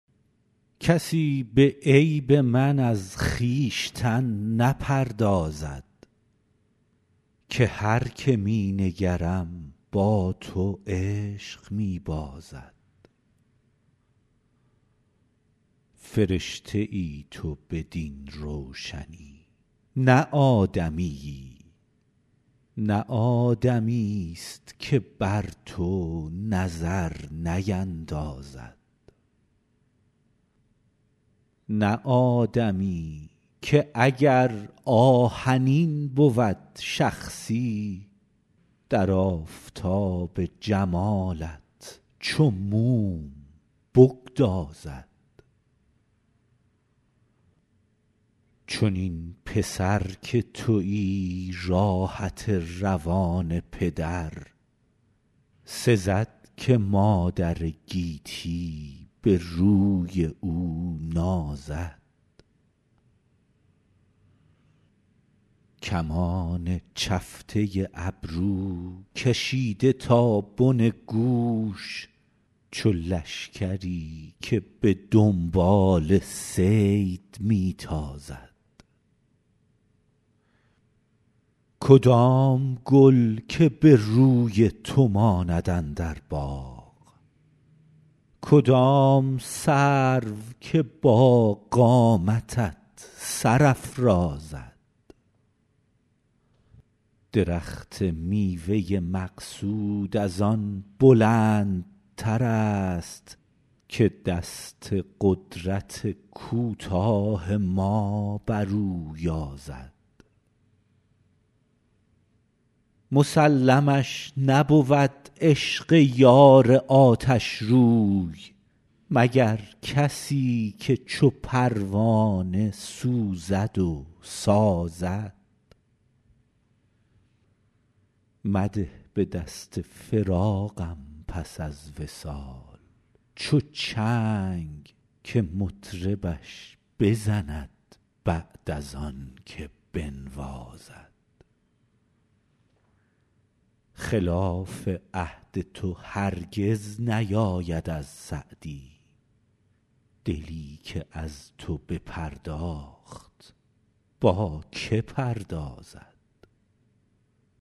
کسی به عیب من از خویشتن نپردازد که هر که می نگرم با تو عشق می بازد فرشته ای تو بدین روشنی نه آدمیی نه آدمیست که بر تو نظر نیندازد نه آدمی که اگر آهنین بود شخصی در آفتاب جمالت چو موم بگدازد چنین پسر که تویی راحت روان پدر سزد که مادر گیتی به روی او نازد کمان چفته ابرو کشیده تا بن گوش چو لشکری که به دنبال صید می تازد کدام گل که به روی تو ماند اندر باغ کدام سرو که با قامتت سر افرازد درخت میوه مقصود از آن بلندترست که دست قدرت کوتاه ما بر او یازد مسلمش نبود عشق یار آتشروی مگر کسی که چو پروانه سوزد و سازد مده به دست فراقم پس از وصال چو چنگ که مطربش بزند بعد از آن که بنوازد خلاف عهد تو هرگز نیاید از سعدی دلی که از تو بپرداخت با که پردازد